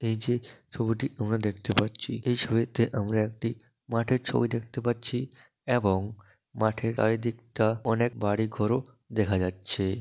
এই যে ছবিটি আমরা দেখতে পাচ্ছি এই ছবিতে আমরা একটি মাঠের ছবি দেখতে পাচ্ছি এবং মাঠের চারিদিকটা অনেক বাড়ি ঘর ও দেখা যাচ্ছে।